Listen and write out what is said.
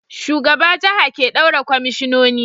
Shugaba jaha ke daura kwamishinoni